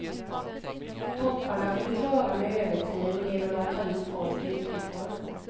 Topparna får vi klara med övertid och genom att ta in folk utifrån.